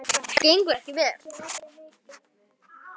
Það gengur ekki vel.